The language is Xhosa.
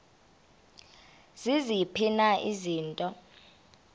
ziziphi na izinto